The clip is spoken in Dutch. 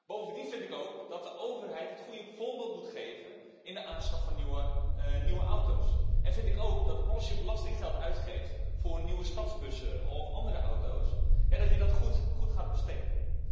Bovendien vind ik ook dat de overheid het goede voorbeeld moet geven in de aanschaf van nieuwe auto's, en vind ik ook dat als je belastinggeld uitgeeft voor nieuwe stadsbussen of andere auto's, dat je dat goed gaat besteden.